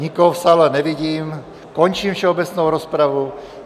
Nikoho v sále nevidím, končím všeobecnou rozpravu.